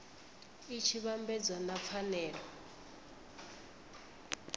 i tshi vhambedzwa na pfanelo